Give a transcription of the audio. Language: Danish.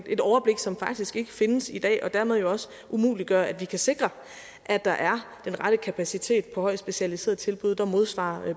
et overblik som faktisk ikke findes i dag hvilket jo dermed også umuliggør at vi kan sikre at der er den rette kapacitet i højt specialiserede tilbud der modsvarer